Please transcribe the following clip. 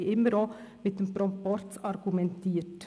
Wir haben immer auch mit dem Proporz argumentiert.